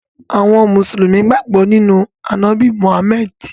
Àwọn Musulumi gbọ̀ nínu Anábì Mohammed.